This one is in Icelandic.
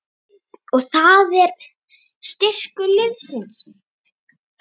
Og það er styrkur liðsins